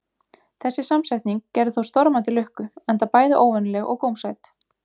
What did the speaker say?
Þessi samsetning gerði þó stormandi lukku, enda bæði óvenjuleg og gómsæt.